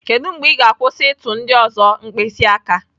Kedu mgbe ị ga-akwụsị ịtụ ndị ọzọ mkpịsị aka?